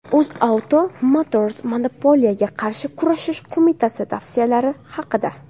UzAuto Motors Monopoliyaga qarshi kurashish qo‘mitasi tavsiyalari haqida.